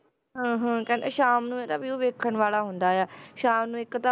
ਹਾਂ ਹਾਂ ਕਹਿੰਦੇ ਸ਼ਾਮ ਨੂੰ ਇਹਦਾ view ਵੇਖਣ ਵਾਲਾ ਹੁੰਦਾ ਆ, ਸ਼ਾਮ ਨੂੰ ਇੱਕ ਤਾਂ